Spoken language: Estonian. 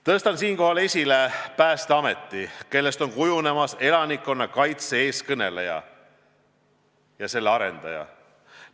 Tõstan siinkohal esile Päästeameti, kellest on kujunemas elanikkonnakaitse eestkõneleja ja arendaja.